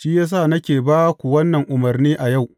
Shi ya sa nake ba ku wannan umarni a yau.